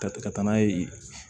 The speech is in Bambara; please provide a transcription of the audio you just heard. Ka ka taa n'a ye yen